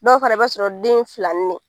Dɔw fana i b'a sɔrɔ den ye filannin de ye